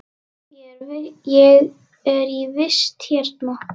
Ég er í vist hérna.